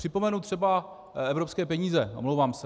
Připomenu třeba evropské peníze, omlouvám se.